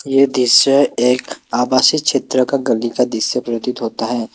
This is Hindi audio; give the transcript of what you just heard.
ये दृश्य एक आवासीय क्षेत्र का गली का दृश्य प्रतीत होता है।